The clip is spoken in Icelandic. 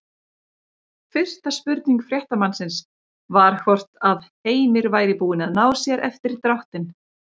Fyrsta spurning fréttamannsins var hvort að Heimir væri búinn að ná sér eftir dráttinn?